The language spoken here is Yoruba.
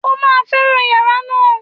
O máa fẹ́ràn yàrá náà